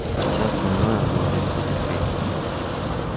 всё остальное говорит для детей